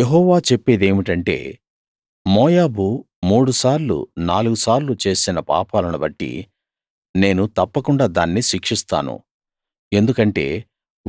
యెహోవా చెప్పేదేమిటంటే మోయాబు మూడు సార్లు నాలుగు సార్లు చేసిన పాపాలను బట్టి నేను తప్పకుండా దాన్ని శిక్షిస్తాను ఎందుకంటే